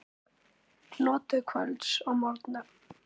Notið kvölds og morgna.